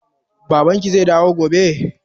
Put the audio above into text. Babanki zai dawo gobe?